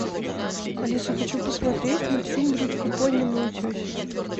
алиса хочу посмотреть мультфильм рыбка поньо на утесе